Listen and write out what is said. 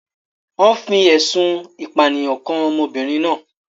Wọ́n fi ẹ̀sùn ìpànìyàn kan ọmọbìnrin náà.